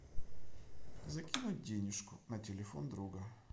закинуть денежку на телефон друга